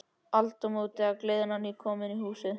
Aldamót, og gleðin á ný komin í húsið.